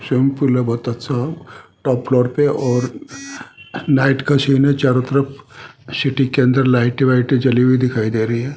Sample है बहुत अच्छा टॉप फ्लोर पे और नाइट का सीन है चारों तरफ सिटी के अंदर लाइटें वाइटें जली हुई दिखाई दे रही है।